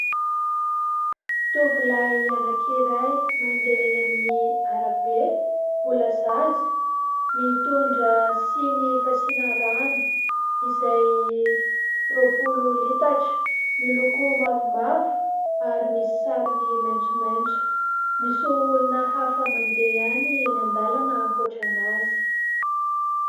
Toovolahy anankiray mandeha amin'ny arabe, mbola zaza, mitondra siny fasina rano izay roapolo litatra miloko mavomavo ary misy sarony maitsomaitso; misy olona hafa mandeha ihany eny an-dalana ankoatra an'azy.